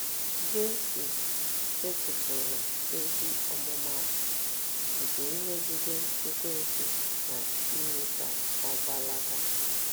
Jesu setịpụrụ ezi ọmụmaatụ nke imegide Ekwensu na ime ka ọ gbalaga.